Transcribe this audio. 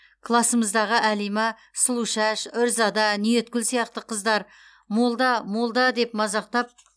классымыздағы әлима сұлушаш үрзада ниеткүл сияқты қыздар молда молда деп мазақтап